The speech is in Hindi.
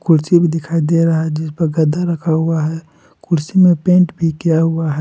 कुर्सी भी दिखाई दे रहा है जिस पर गद्दा रखा हुआ है कुर्सी में पेंट भी किया हुआ है।